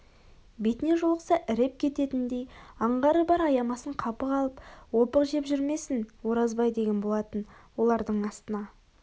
бетіне жолықса іреп кететіндей аңғары бар аямасын қапы қалып опықжеп жүрмесін оразбай деген болатын олардың астына